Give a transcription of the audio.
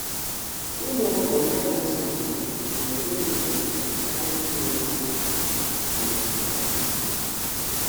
Ụmụ ọkụkọ ndị ana-azu-maka-anụ̀ n'eri nri kwá ụbọchị karịa ndị neyi ákwà m'obu ọkụkọ Igbo.